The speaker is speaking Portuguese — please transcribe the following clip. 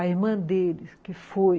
A irmã deles, que foi...